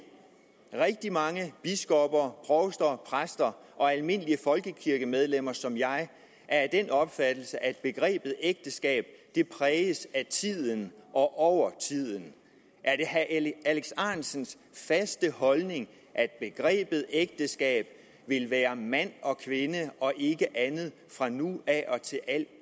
rigtig mange biskopper provster præster og almindelige folkekirkemedlemmer som jeg er af den opfattelse at begrebet ægteskab præges af tiden og over tiden er det herre alex ahrendtsens faste holdning at begrebet ægteskab vil være mand og kvinde og ikke andet fra nu af og i al